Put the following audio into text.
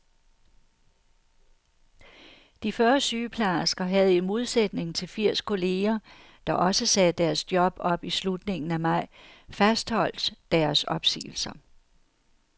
De fyrre sygeplejersker havde i modsætning til firs kolleger, der også sagde deres job op i slutningen af maj, fastholdt deres opsigelser.